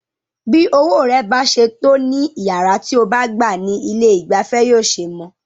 Bí owó rẹ bá ṣe tó ní iyàrá tí o bá gbá ní ilé ìgbafẹ́ yóò ṣe mọ.